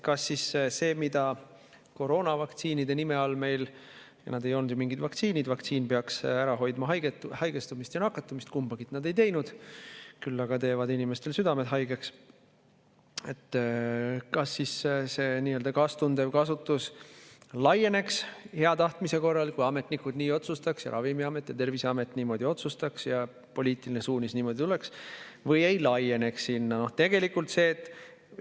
Kas siis sellele, mida meil koroonavaktsiinideks nimetati – need ei olnud mingid vaktsiinid, vaktsiin peaks ära hoidma haigestumist ja nakatumist, kumbagi nad ei teinud, küll aga tegid inimeste südamed haigeks –, ka see nii-öelda kaastundev kasutus hea tahtmise korral laieneks, kui ametnikud nii otsustaks, Ravimiamet ja Terviseamet niimoodi otsustaks ja poliitiline suunis niimoodi tuleks, või see ei laieneks sellele?